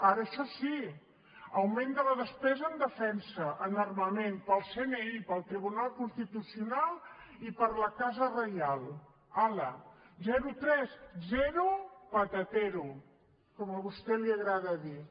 ara això sí augment de la despesa en defensa en armament per al cni per al tribunal constitucional i per a la casa reial hala zero tres zero patatero com a vostè li agrada dir